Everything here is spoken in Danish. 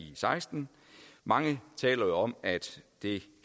seksten mange taler om at det